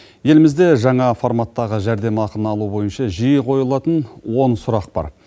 елімізде жаңа форматтағы жәрдемақыны алу бойынша жиі қойылатын он сұрақ бар